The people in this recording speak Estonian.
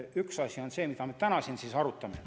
Üks asi on see, mida me täna siin arutame.